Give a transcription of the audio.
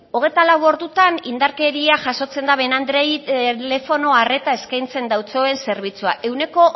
hogeita lau ordutan indarkeria jasotzen daben andreei telefono arreta eskaintzen dautsoen zerbitzua ehuneko